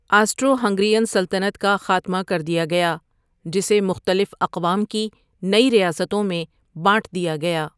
Astro Hungarian سلطنت کا خاتمہ کر دیا گیا جسے مختلف اقوام کی نئی ریاستوں میں بانٹ دیا گیا ۔